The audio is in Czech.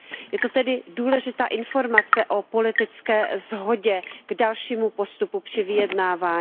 Je to tedy důležitá informace o politické shodě na dalším postupu při vyjednávání.